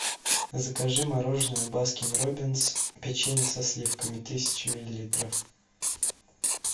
закажи мороженое баскин роббинс печенье со сливками тысяча миллилитров